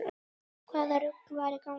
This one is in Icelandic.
Hvaða rugl var í gangi?